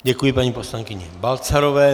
Děkuji paní poslankyni Balcarové.